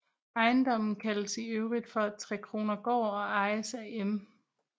Ejendommen kaldes i øvrigt for Trekronergård og ejes af M